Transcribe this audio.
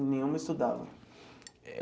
E nenhuma estudava?